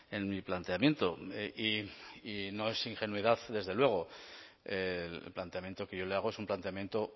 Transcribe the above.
en mi planteamiento y no es ingenuidad desde luego el planteamiento que yo le hago es un planteamiento